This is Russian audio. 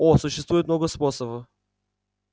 о существует много способов